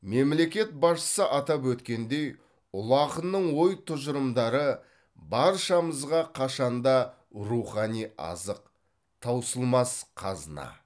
мемлекет басшысы атап өткендей ұлы ақынның ой тұжырымдары баршамызға қашанда рухани азық таусылмас қазына